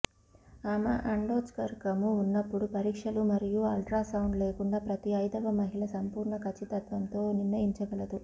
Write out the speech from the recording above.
ఆమె అండోత్సర్గము ఉన్నప్పుడు పరీక్షలు మరియు అల్ట్రాసౌండ్ లేకుండా ప్రతి ఐదవ మహిళ సంపూర్ణ ఖచ్చితత్వంతో నిర్ణయించగలదు